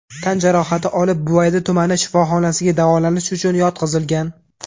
tan jarohati olib, Buvayda tumani shifoxonasiga davolanish uchun yotqizilgan.